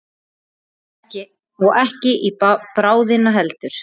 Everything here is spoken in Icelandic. Og ekki í bráðina heldur.